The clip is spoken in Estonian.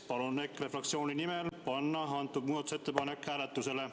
Palun EKRE fraktsiooni nimel panna see muudatusettepanek hääletusele.